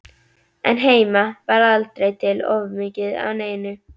En heima var aldrei til of mikið af neinu.